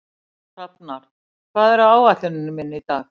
Hrafnar, hvað er á áætluninni minni í dag?